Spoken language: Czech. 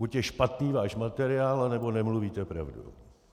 Buď je špatný váš materiál, anebo nemluvíte pravdu.